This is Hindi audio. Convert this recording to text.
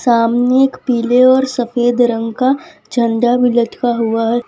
सामने एक पीले और सफेद रंग का झंडा भी लटका हुआ हैं।